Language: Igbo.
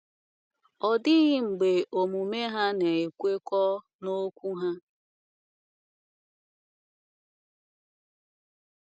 Ọ dịghị mgbe omume ha na - ekwekọ n’okwu ha.